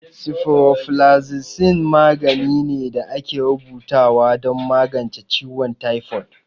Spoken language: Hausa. Sifuroflazicin magani ne da ake rubuta wa don magance ciwon taifod